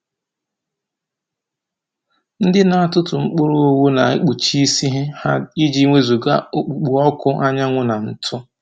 Ndị na-atụtụ mkpụrụ owu na-ekpuchi isi ha i ji wezuga okpukpo ọkụ anyanwụ na ńtụ́.